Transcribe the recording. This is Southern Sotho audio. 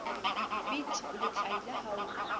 piet o letlaila ha o